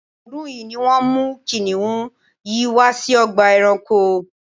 ọ́dún yìí ni wọ́n mú kìnnìún yìí wá sí ọgbà ẹranko